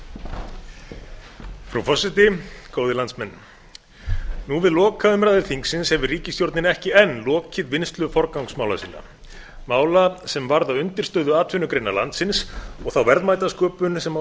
frú forseti góðir landsmenn nú við lokaumræður þingsins hefur ríkisstjórnin ekki enn lokið vinnslu forgangsmála sinna mála sem varða undirstöðuatvinnugreinar landsins og þá verðmætasköpun sem á